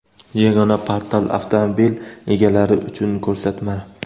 Yagona portal: avtomobil egalari uchun ko‘rsatma.